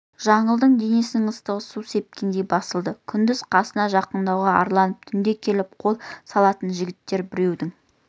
жаңылдың денесінің ыстығы су сепкендей басылды күндіз қасына жақындауға арланып түнде келіп қол салатын жігіттер біреудің